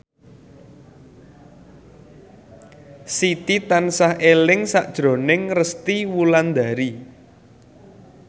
Siti tansah eling sakjroning Resty Wulandari